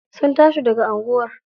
Sun tashi daga anguwar.